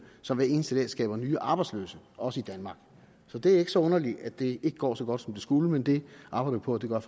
som hver eneste dag skaber nye arbejdsløse også i danmark så det er ikke så underligt at det ikke går så godt som det skulle men vi arbejder på at det gør